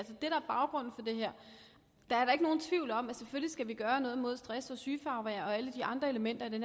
her der er da ikke nogen tvivl om at vi selvfølgelig skal gøre noget mod stress og sygefravær og alle de andre elementer i det